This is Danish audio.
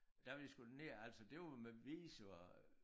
Da vi skulle derned og altså det var med visum